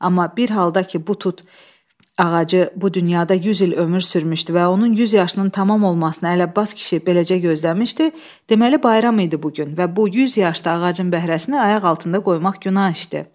Amma bir halda ki bu tut ağacı bu dünyada 100 il ömür sürmüşdü və onun 100 yaşının tamam olmasına Ələbbas kişi beləcə gözləmişdi, deməli bayram idi bu gün və bu 100 yaşlı ağacın bəhrəsini ayaq altında qoymaq günah işdir.